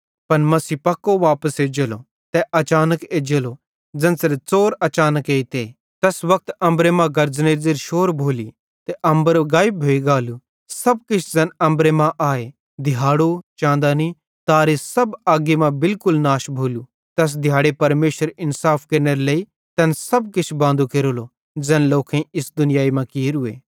पन मसीह पक्को वापस एज्जेलो तै अचानक एज्जेलो ज़ेन्च़रे च़ोर अचानक एइते तैस वक्त अम्बर मां गर्ज़नेरी ज़ेरि शोर भोली ते अम्बर गायब भोइ गालू सब किछ ज़ैन अम्बरे मां आए दिहाड़ो चाँदनी तारे सब अग्गी सेइं बिलकुल नाश भोलू तैस दिहाड़े परमेशर इन्साफ केरनेरे लेइ तैन सब किछ बांदू केरेलो ज़ैन लोकेईं इस दुनियाई मां कियोरूए